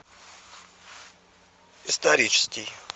исторический